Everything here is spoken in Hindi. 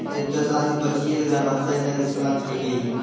एक तरह से आदमी बचिए के जाना चाही ने ते साला खाईए जेएते।